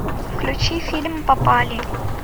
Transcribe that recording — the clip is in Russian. включи фильм попали